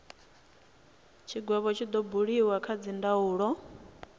tshigwevho tshi do buliwa kha dzindaulo